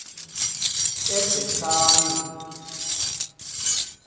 ebhetani